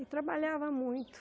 E trabalhava muito.